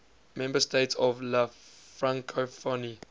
member states of la francophonie